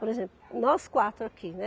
Por exemplo, nós quatro aqui, né.